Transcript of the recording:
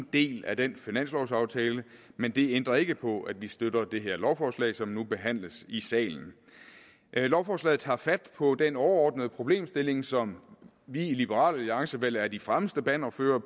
del af den finanslovsaftale men det ændrer ikke på at vi støtter det her lovforslag som nu behandles i salen lovforslaget tager fat på den overordnede problemstilling som vi i liberal alliance vel er de fremmeste bannerførere